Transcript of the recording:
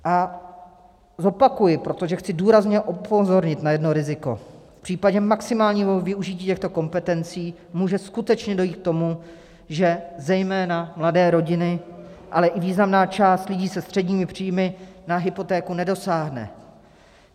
A zopakuji, protože chci důrazně upozornit na jedno riziko: V případě maximálního využití těchto kompetencí může skutečně dojít k tomu, že zejména mladé rodiny, ale i významná část lidí se středními příjmy na hypotéku nedosáhne.